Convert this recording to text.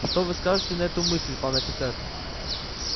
что вы скажете на эту мысль пан офицер